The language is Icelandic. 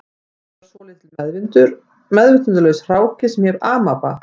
Fyrst var svolítill meðvitundarlaus hráki sem hét amaba